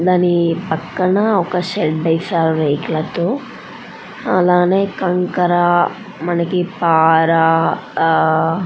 దాని పక్కన ఒక షెడ్ వేశారు రేకుల తో అలాగే కంకర్రా మనకి పారా ఆహ్ ఆహ్ --